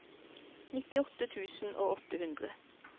nittiåtte tusen og åtte hundre